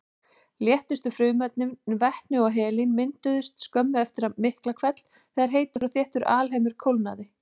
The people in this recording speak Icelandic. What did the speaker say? Léttustu frumefnin, vetni og helín, mynduðust skömmu eftir Miklahvell þegar heitur og þéttur alheimur kólnaði.